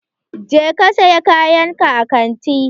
Je ka saya kayan ka a kanti!